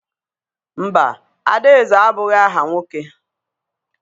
Mba, Adaeze abụghị aha nwoke.